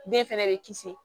Den fɛnɛ bɛ kisi